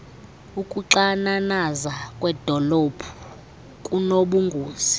ukuxananaza kwedolophu kunobungozi